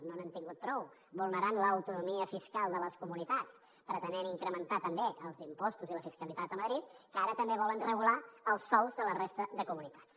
no n’hem tingut prou vulnerant l’autonomia fiscal de les comunitats pretenent incrementar també els impostos i la fiscalitat a madrid que ara també volen regular els sous de la resta de comunitats